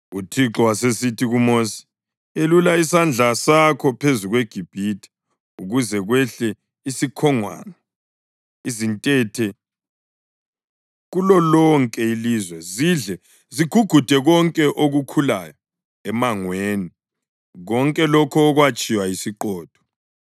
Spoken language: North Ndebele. UThixo wasesithi kuMosi, “Yelula isandla sakho phezu kweGibhithe ukuze kwehle isikhongwane, izintethe, kulolonke ilizwe zidle zigugude konke okukhulayo emangweni, konke lokho okwatshiywa yisiqhotho.”